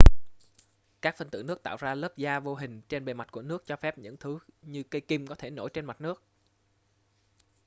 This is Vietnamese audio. các phân tử nước tạo ra lớp da vô hình trên bề mặt của nước cho phép những thứ như cây kim có thể nổi trên mặt nước